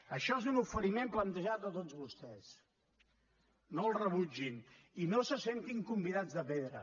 això és un oferiment plantejat a tots vostès no el rebutgin i no se sentin convidats de pedra